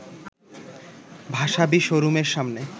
ভাসাবী শোরুমের সামনে